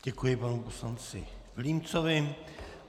Děkuji panu poslanci Vilímcovi.